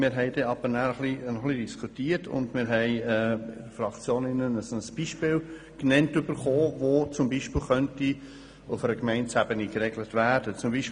Wir diskutierten anschliessend und bekamen in der Fraktion ein Beispiel genannt, welches auf Gemeindeebene geregelt werden könnte.